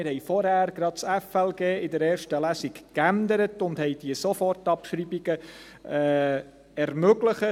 Wir haben vorhin gerade das Gesetz über die Steuerung von Finanzen und Leistungen (FLG) in erster Lesung abgeändert und haben diese Sofortabschreibungen ermöglicht.